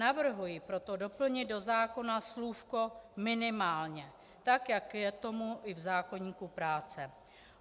Navrhuji proto doplnit do zákona slůvko "minimálně", tak jak je tomu i v zákoníku práce.